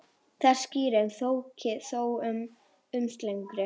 Þessi skýring þykir þó mun ósennilegri.